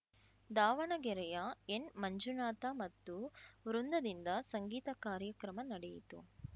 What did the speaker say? ದಾವಣಗೆರೆಯ ಎನ್‌ಮಂಜುನಾಥ ಮತ್ತು ವೃಂದದಿಂದ ಸಂಗೀತ ಕಾರ್ಯಕ್ರಮ ನಡೆಯಿತು